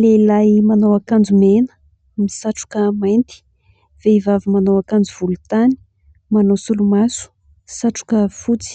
lehilahy manao akanjo mena misatroka mainty vehivavy manao akanjo volontany manao solomaso satroka fotsy